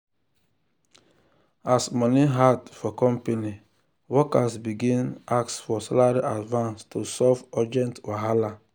as money hard for company workers begin ask for salary advance to solve urgent wahala.